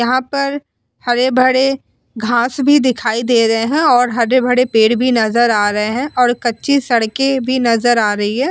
यहाँ पर हरे-भरे घास भी दिखाई दे रहे है और हरे-भरे पेड़ भी नजर आ रहे है और कच्ची सड़के भी नजर आ रही है।